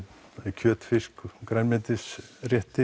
kjöt fisk grænmetisrétti